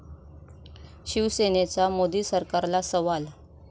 शिवसेनेचा मोदी सरकारला सवाल